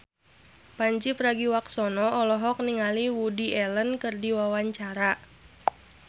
Pandji Pragiwaksono olohok ningali Woody Allen keur diwawancara